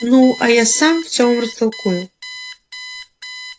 ну а я сам все вам растолкую